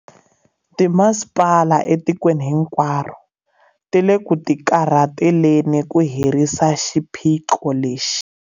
Timasipala etikweni hinkwaro ti le ku tikarhateleni ku herisa xiphiqo lexi.